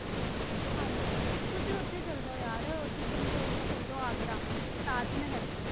ਹਾਂਜੀ ਹਾਂਜੀ ਤੁਸੀਂ ਉੱਥੇ ਚਲੇ ਜਾਓ ਯਾਰ ਕੀ ਕਹਿੰਦੇ ਆ ਉੱਥੇ ਚਲੇ ਆਗਰਾ, ਤਾਜ਼ਮਹਿਲ